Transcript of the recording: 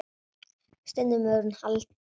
Stundum hefur hún haldið til